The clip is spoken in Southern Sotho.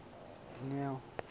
dineo